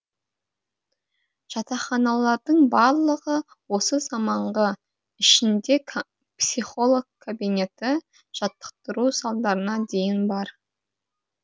жатақханалардың барлығы осы заманғы ішінде психолог кабинеті жаттықтыру залдарына дейін бар